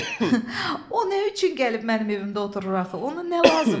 O nə üçün gəlib mənim evimdə oturur axı, ona nə lazımdır?